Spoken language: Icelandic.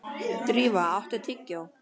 Drífa, áttu tyggjó?